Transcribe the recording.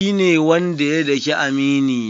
Shi ne wanda ya dake amini na.